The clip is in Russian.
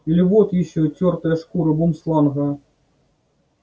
или вот ещё тёртая шкура бумсланга